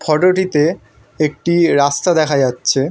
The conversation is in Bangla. ফোটোটিতে একটি রাস্তা দেখা যাচ্ছে।